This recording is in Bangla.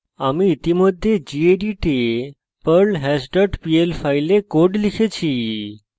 আমি ইতিমধ্যে gedit এ perlhash dot pl file code লিখেছি